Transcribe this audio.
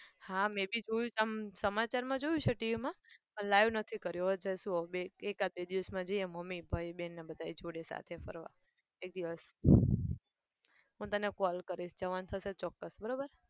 હા મેં બી જોયું આમ સમાચાર માં જોયું છે TV માં પણ live નથી કર્યો. હવે જઈશું બે એકાદ બે દિવસમાં જઈએ મમ્મી, ભાઈ, બેન અને બધા જોડે સાથે ફરવા એક દિવસ. હું તને call કરીશ જવાનું થશે ચોક્કસ બરાબર